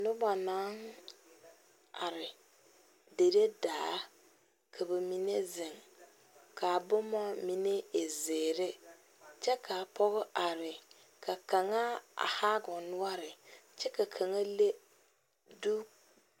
Noba naŋ are dire daa ka ba mine zeŋ kaa boma mine e zeɛre, kyɛ kaa pɔge are ka kaŋa a haa o noɔre kyɛ ka kaŋa leŋ zutarraa